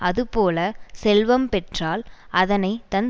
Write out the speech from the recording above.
அதுபோலச் செல்வம் பெற்றால் அதனை தன்